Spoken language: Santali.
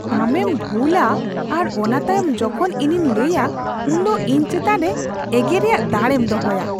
ᱟᱢᱮᱢ ᱵᱷᱩᱞᱟ ᱟᱨ ᱚᱱᱟ ᱛᱟᱭᱚᱢ ᱡᱚᱠᱷᱚᱱ ᱤᱧᱤᱧ ᱞᱟᱹᱭᱟ ᱩᱱᱫᱚ ᱤᱧ ᱪᱮᱛᱟᱱ ᱨᱮ ᱮᱜᱮᱨ ᱨᱮᱭᱟᱜ ᱫᱟᱲᱮᱢ ᱫᱚᱦᱚᱭᱟ ᱾